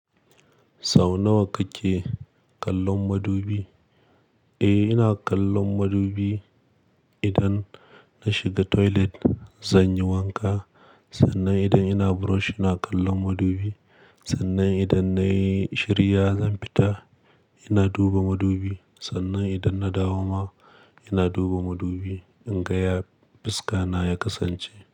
Sau nawa kake kallon madubi? Eh, ina kallon madubi. Idan na shiga toilet zan yi wanka, sannan idan ina brush ina kallon madubi, sannan idan nayi shiriya zan fita ina duba madubi, sannan idan na dawo ma ina duba madubi in ga ya fuska na ya kasance.